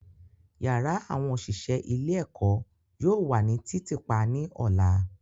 Yara awọn oṣiṣẹ ile-eko yoo wa ni titiipa ni ọla.